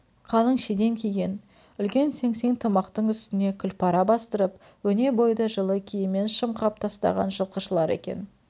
қалын шидем киген үлкен сеңсең тымақтың үстіне күләпара бастырып өне бойды жылы киіммен шымқап тастаған жылқышылар екен